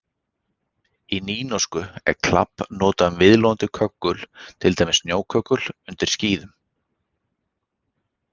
Í nýnorsku er klabb notað um viðloðandi köggul, til dæmis snjóköggul undir skíðum.